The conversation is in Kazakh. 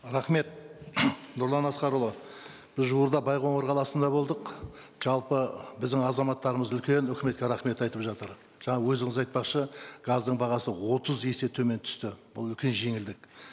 рахмет нұрлан асқарұлы біз жуырда байқоңыр қаласында болдық жалпы біздің азаматтарымыз үлкен үкіметке рахмет айтып жатыр жаңа өзіңіз айтпақшы газдың бағасы отыз есе төмен түсті бұл үлкен жеңілдік